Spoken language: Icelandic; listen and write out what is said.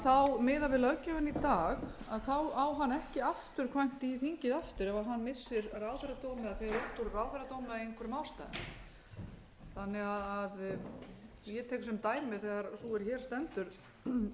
ráðherra gerir þetta miðað við löggjöfina í dag á hann ekki afturkvæmt í þingið aftur ef hann missir ráðherradóm eða fer út úr ráðherradómi af einhverjum ástæðum þannig að ég tek sem dæmi þegar sú er hér stendur